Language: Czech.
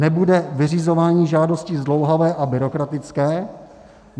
Nebude vyřizování žádostí zdlouhavé a byrokratické?